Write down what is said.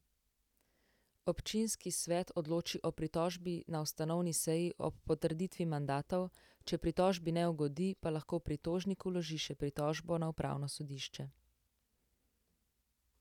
Občinski svet odloči o pritožbi na ustanovni seji ob potrditvi mandatov, če pritožbi ne ugodi, pa lahko pritožnik vloži še pritožbo na upravno sodišče.